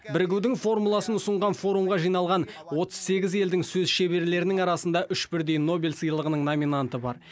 бірігудің формуласын ұсынған форумға жиналған отыз сегіз елдің сөз шеберлерінің арасында үш бірдей нобель сыйлығының номинанты бар